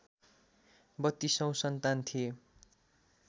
बत्तीसौँ सन्तान थिए